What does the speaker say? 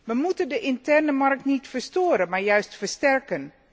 Wij moeten de interne markt niet verstoren, maar juist versterken.